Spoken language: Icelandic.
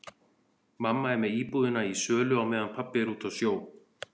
Mamma er með íbúðina í sölu á meðan pabbi er úti á sjó.